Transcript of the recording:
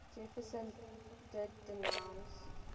jefferson did denounce